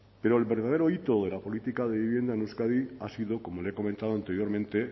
pero el verdadero hito de la política de vivienda en euskadi ha sido como le he comentado anteriormente